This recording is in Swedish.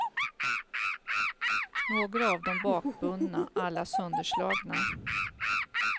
Några av dem bakbundna, alla sönderslagna.